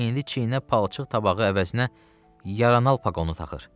İndi çiynə palçıq tabağı əvəzinə yaranan alpaq onu taxır.